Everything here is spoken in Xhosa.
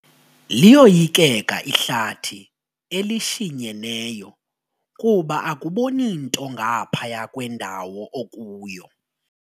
Liyoyikeka ihlathi elishinyeneyo kuba akuboni nto ngaphaya kwendawo okuyo.